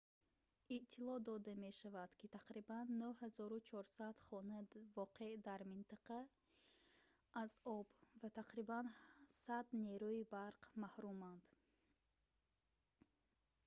иттилоъ дода мешавад ки тақрибан 9400 хона воқеъ дар минтақа аз об ва тақрибан 100 нерӯи барқ ​​маҳруманд